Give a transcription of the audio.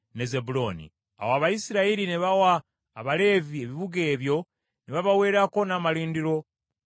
Awo Abayisirayiri ne bawa Abaleevi ebibuga ebyo ne babaweerako n’amalundiro byabyo.